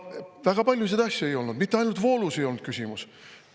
Ja väga paljusid asju ei olnud, mitte ainult voolus ei olnud küsimus.